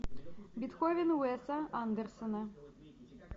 бетховен уэса андерсона